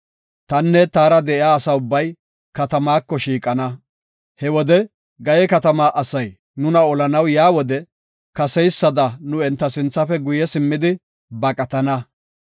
Tanne taara de7iya asa ubbay, katamaako shiiqana. He wode Gaye katamaa asay nuna olanaw yaa wode kaseysada nu enta sinthafe guye simmidi baqatana.